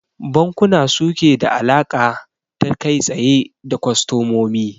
Bankuna suke da alaƙa ta kai tsaye da kwastamomi